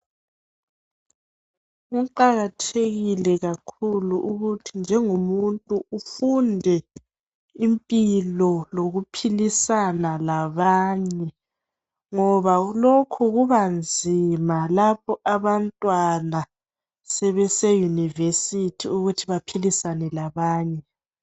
Kuqakathekile kakhulu ukuthi njengomuntu ufunde impilo lokuphilisana labanye ngoba kungenjalo kubanzima kubafundi beyunivesithi ukuphilisana labanye.